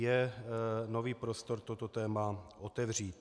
Je nový prostor toto téma otevřít.